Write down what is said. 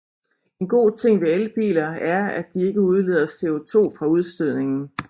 En god ting ved elbiler er at de ikke udleder CO2 fra udstødningen